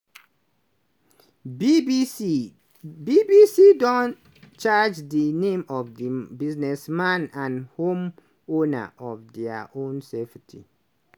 bbc bbc don charge di name of di businessman and homeowner of dia own safety.